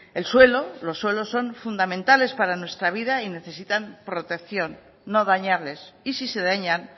el suelo los suelos son fundamentales para nuestra vida y necesitan protección no dañarles y si se dañan